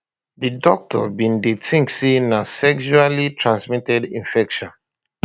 di doctors been dey think say na sexually transmitted infection